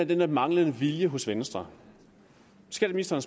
den der manglende vilje hos venstre skatteministeren